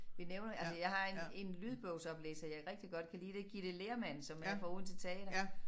Vi nævner altså jeg har en en lydbogsoplæser jeg rigtig godt kan lide det Ghita Lehrmann som er fra Odense Teater